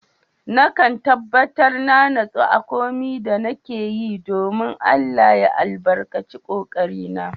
Na kan tabatar na nasu a komin da nake yi, dominn Allah ya albarkace ƙoƙari na